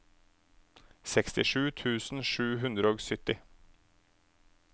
sekstisju tusen sju hundre og sytti